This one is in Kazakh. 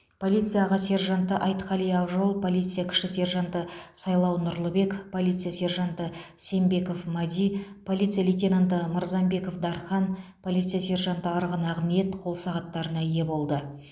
полиция аға сержанты айтқали ақжол полиция кіші сержанты сайлау нұрлыбек полиция сержанты сембеков мади полиция лейтенанты мырзамбеков дархан полиция сержанты арғын ақниет қол сағаттарына ие болды